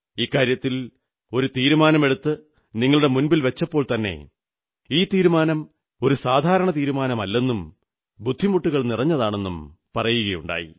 ഇക്കാര്യത്തിൽ ഒരു തീരുമാനമെടുത്ത് നിങ്ങളുടെ മുന്നിൽ വച്ചപ്പോൾത്തന്നെ ഈ തീരുമാനം ഒരു സാധാരണ തീരുമാനമല്ലെന്നും ബുദ്ധിമുട്ടുകൾ നിറഞ്ഞതാണെന്നും പറയുകയുണ്ടായി